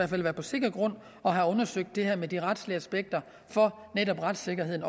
skal være på sikker grund og have undersøgt det her med de retslige aspekter for netop retssikkerheden